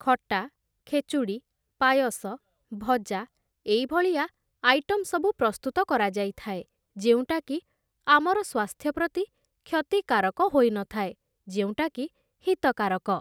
ଖଟା, ଖେଚୁଡ଼ି, ପାୟସ, ଭଜା ଏଇ ଭଳିଆ ଆଇଟମ୍‌ ସବୁ ପ୍ରସ୍ତୁତ କରାଯାଇଥାଏ, ଯେଉଁଟାକି ଆମର ସ୍ୱାସ୍ଥ୍ୟ ପ୍ରତି କ୍ଷତିକାରିକ ହୋଇନଥାଏ, ଯେଉଁଟାକି ହିତକାରକ ।